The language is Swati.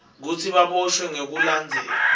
kutsi baboshwe ngekulandzela